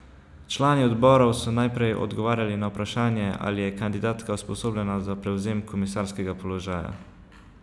Člani odborov so najprej odgovarjali na vprašanje, ali je kandidatka usposobljena za prevzem komisarskega položaja.